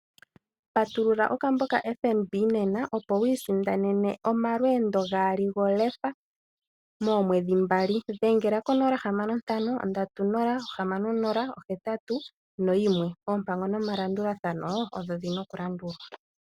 Patulula okambo kaFNB nena opo wiisindanene omalweendo gaali golefa moomwedhi mbali dhengela konomola 061306081 oompango nomalandulathano odho dhi na okulandulwa.